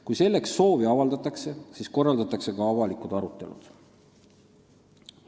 Kui selleks on soovi avaldatud, siis korraldatakse ka avalikud arutelud.